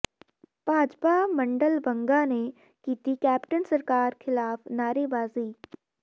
ਭਾਜਪਾ ਮੰਡਲ ਬੰਗਾ ਨੇ ਕੀਤੀ ਕੈਪਟਨ ਸਰਕਾਰ ਖ਼ਿਲਾਫ਼ ਨਾਅਰੇਬਾਜ਼ੀ